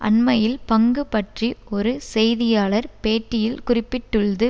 அண்மையில் பங்கு பற்றி ஒரு செய்தியாளர் பேட்டியில் குறிப்பிட்டுள்து